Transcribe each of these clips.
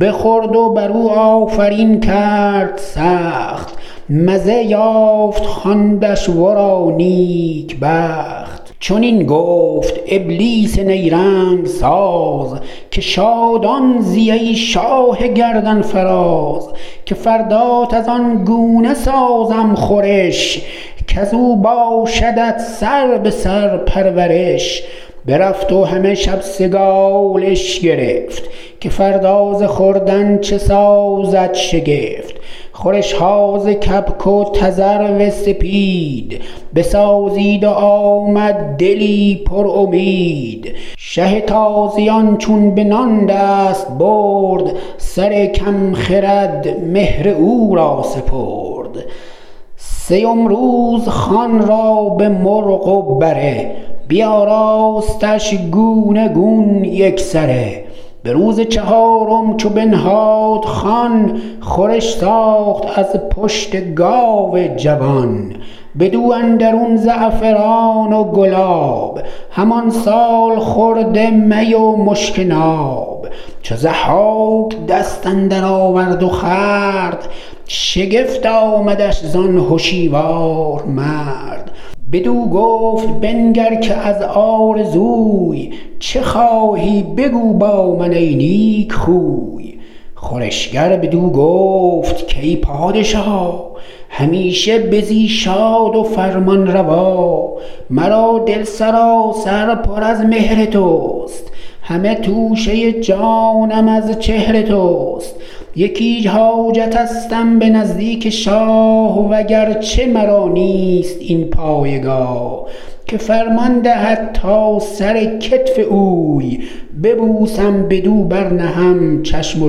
بخورد و بر او آفرین کرد سخت مزه یافت خواندش ورا نیک بخت چنین گفت ابلیس نیرنگ ساز که شادان زی ای شاه گردنفراز که فردات از آن گونه سازم خورش کز او باشدت سربه سر پرورش برفت و همه شب سگالش گرفت که فردا ز خوردن چه سازد شگفت خورش ها ز کبک و تذرو سپید بسازید و آمد دلی پر امید شه تازیان چون به نان دست برد سر کم خرد مهر او را سپرد سیم روز خوان را به مرغ و بره بیاراستش گونه گون یک سره به روز چهارم چو بنهاد خوان خورش ساخت از پشت گاو جوان بدو اندرون زعفران و گلاب همان سالخورده می و مشک ناب چو ضحاک دست اندر آورد و خورد شگفت آمدش زان هشیوار مرد بدو گفت بنگر که از آرزوی چه خواهی بگو با من ای نیک خوی خورشگر بدو گفت کای پادشا همیشه بزی شاد و فرمانروا مرا دل سراسر پر از مهر تو است همه توشه جانم از چهر تو است یکی حاجتستم به نزدیک شاه و گرچه مرا نیست این پایگاه که فرمان دهد تا سر کتف اوی ببوسم بدو بر نهم چشم و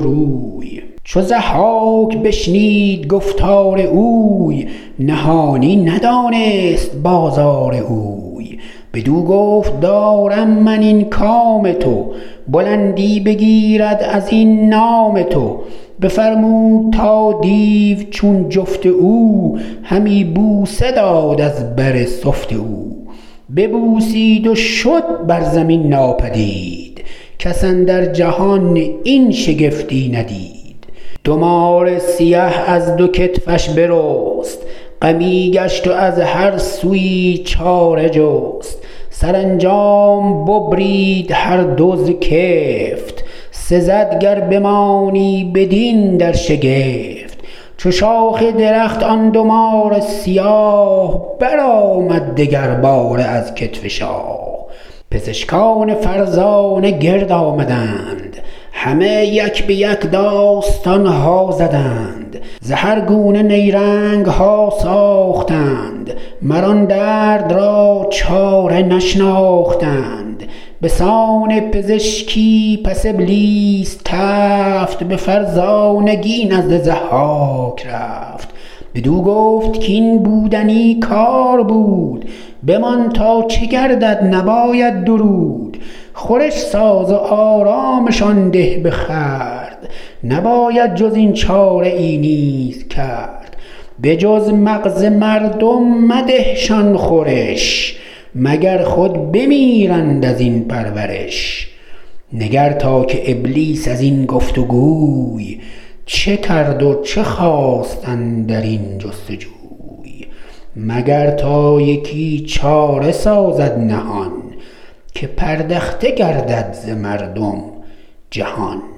روی چو ضحاک بشنید گفتار اوی نهانی ندانست بازار اوی بدو گفت دارم من این کام تو بلندی بگیرد از این نام تو بفرمود تا دیو چون جفت او همی بوسه داد از بر سفت او ببوسید و شد بر زمین ناپدید کس اندر جهان این شگفتی ندید دو مار سیه از دو کتفش برست غمی گشت و از هر سویی چاره جست سرانجام ببرید هر دو ز کفت سزد گر بمانی بدین در شگفت چو شاخ درخت آن دو مار سیاه برآمد دگر باره از کتف شاه پزشکان فرزانه گرد آمدند همه یک به یک داستان ها زدند ز هر گونه نیرنگ ها ساختند مر آن درد را چاره نشناختند به سان پزشکی پس ابلیس تفت به فرزانگی نزد ضحاک رفت بدو گفت کاین بودنی کار بود بمان تا چه گردد نباید درود خورش ساز و آرامشان ده به خورد نباید جز این چاره ای نیز کرد به جز مغز مردم مده شان خورش مگر خود بمیرند از این پرورش نگر تا که ابلیس از این گفت وگوی چه کرد و چه خواست اندر این جستجوی مگر تا یکی چاره سازد نهان که پردخته گردد ز مردم جهان